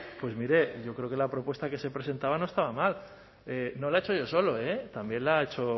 pues mire yo creo que la propuesta que se presentaba no estaba mal no la he hecho yo solo también la ha hecho